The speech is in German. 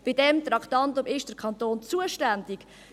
Bei diesem Traktandum ist der Kanton zuständig.